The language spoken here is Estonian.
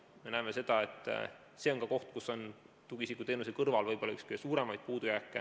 Me näeme, et see on ka üks võib-olla kõige suurema puudujäägiga kohti tugiisikuteenuse kõrval.